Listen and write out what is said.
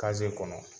kɔnɔ